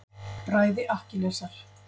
Bræði Akkilesar.